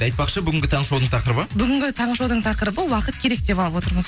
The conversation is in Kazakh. айтпақшы бүгінгі таңғы шоудың тақырыбы бүгінгі таңғы шоудың тақырыбы уақыт керек деп алып отырмыз